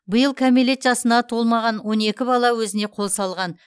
биыл кәмелет жасына толмаған он екі бала өзіне қол салған